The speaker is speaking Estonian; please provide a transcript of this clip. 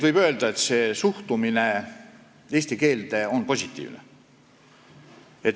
Võib öelda, et suhtumine eesti keelde on positiivne.